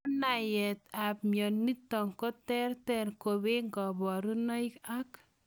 Kanayaet ap mionitok koterter kopee kabarunoik ak.